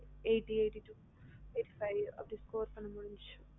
eighty eight eighty five அப்டி score பண்ண முடிஞ்சது